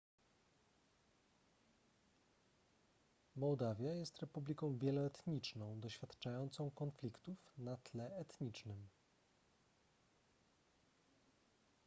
mołdawia jest republiką wieloetniczną doświadczającą konfliktów na tle etnicznym